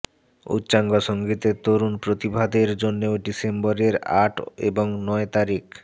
উচ্চাঙ্গ সংগীতের তরুণ প্রতিভাদের জন্যেও ডিসেম্বরের আট এবং নয় তারিখ